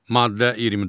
Maddə 24.